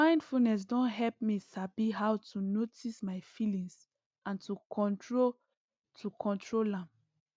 mindfulness don help me sabi how to notice my feelings and to control to control am